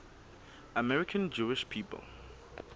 american jewish people